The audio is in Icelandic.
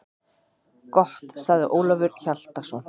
Gott, sagði Ólafur Hjaltason.